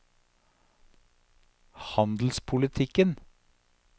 handelspolitikken